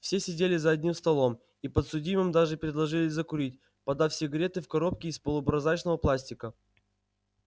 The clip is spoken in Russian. все сидели за одним столом и подсудимым даже предложили закурить подав сигареты в коробке из полупрозрачного пластика